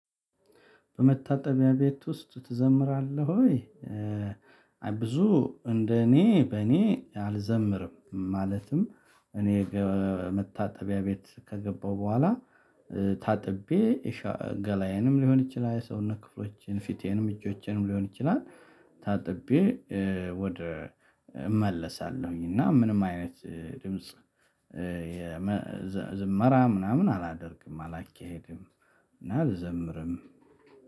በመታጠቢያ ቤት ውስጥ ትዘምራለህ ወይ ብዙ እንደኔ በኔ አልዘምርም? ማለትም እኔ መታጠቢያ ቤት ከገባሁ በኋላ ታጥቤ ገላዬንም ሊሆን ይችላል ሰውነት ክፍሎችን ፊቴንም እጆቼንም ሊሆን ይችላል ታጥቤ ወደ እመለሳለሁኝ። እና ምንም አይነት ድምጽ የመ ዝመራ ምናምን አላደርግም አላካሄድም። እና አልዘምርም።